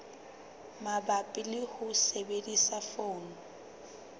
mabapi le ho sebedisa poone